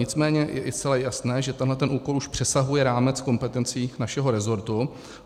Nicméně je zcela jasné, že tenhle úkol už přesahuje rámec kompetencí našeho resortu.